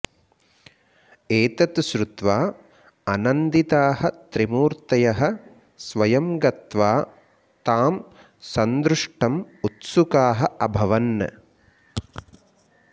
एतत् श्रुत्वा अनन्दिताः त्रिमूर्तयः स्वयं गत्वा तां सन्दृष्टुम् उत्सुकाः अभवन्